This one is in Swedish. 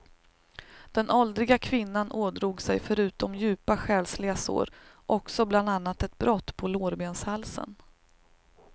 Den åldriga kvinnan ådrog sig förutom djupa själsliga sår också bland annat ett brott på lårbenshalsen.